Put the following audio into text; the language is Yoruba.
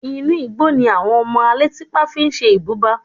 Inú igbó ni àwọn ọmọ alétípá fi ṣe ibùba